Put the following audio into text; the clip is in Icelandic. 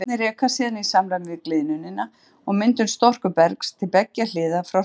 Flekarnir reka síðan í samræmi við gliðnunina og myndun storkubergs til beggja hliða frá hryggjunum.